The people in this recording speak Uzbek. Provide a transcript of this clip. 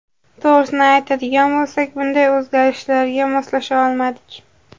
To‘g‘risini aytadigan bo‘lsak, bunday o‘zgarishlarga moslasha olmadik.